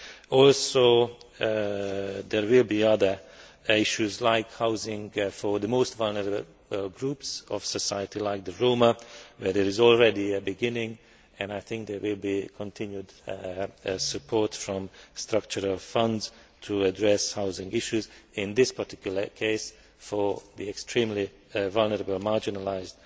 There will also be other issues like housing for the most vulnerable groups of society such as the Roma, where there is already a beginning, and I think there will be continued support from the Structural Funds to address housing issues, in this particular case, for the extremely vulnerable marginalised